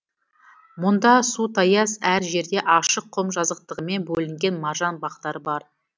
мұнда су таяз әр жерде ашық құм жазықтығымен бөлінген маржан бақтары бар